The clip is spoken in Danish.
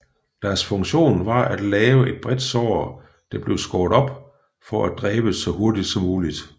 Deres funktion var at lave et bredt sår der blev skåret op for at dræbe så hurtigt som muligt